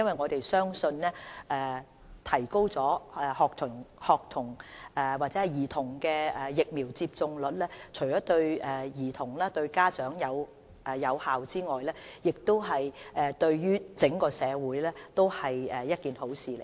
我們相信提高兒童的疫苗接種率，不單對兒童和家長有益，對整個社會也是好事。